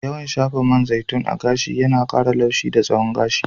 Yawan shafa man zaitun a gashi yana ƙara laushi da tsawon gashi.